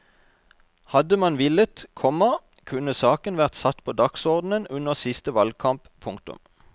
Hadde man villet, komma kunne saken vært satt på dagsordenen under siste valgkamp. punktum